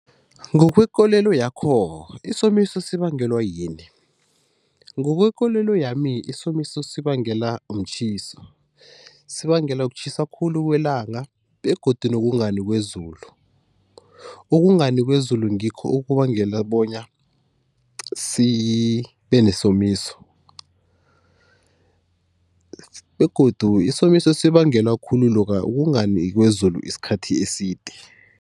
Ngokwekolelo yakho, isomiso sibangelwa yini? Ngokwekolelo yami isomiso sibangela mtjhiso, sibangelwa kutjhisa khulu kwelanga begodu nokungani kwezulu. Ukungani kwezulu ngikho okubangela bona sibe nesomiso. Begodu isomiso sibangelwa khulu lokha ukungani kwezulu isikhathi eside.